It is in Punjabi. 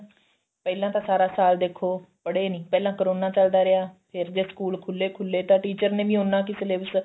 ਪਹਿਲਾਂ ਤਾਂ ਸਾਰਾ ਸਾਲ ਦੇਖੋ ਪੜੇ ਨੀ ਪਹਿਲਾਂ ਕਰੋਨਾ ਚੱਲਦਾ ਰਿਹਾ ਫ਼ਿਰ ਜੇ school ਖੁੱਲੇ ਤਾਂ ਤੇ teacher ਨੇ ਵੀ ਉੰਨਾ ਕੁ syllabus